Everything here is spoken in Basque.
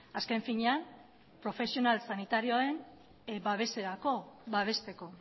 azken finean profesional sanitarioen babeserako babesteko